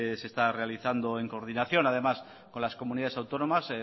se está realizado en coordinación además con las comunidades autónomas